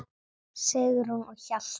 Sigrún og Hjalti.